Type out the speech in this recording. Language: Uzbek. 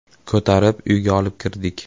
Ko‘tarib uyga olib kirdik.